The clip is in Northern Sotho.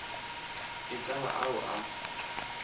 e ka ba ao a